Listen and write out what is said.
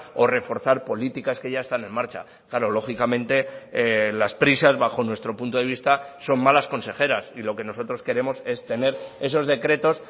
o reforzar políticas que ya están en marcha claro lógicamente las prisas bajo nuestro punto de vista son malas consejeras y lo que nosotros queremos es tener esos decretos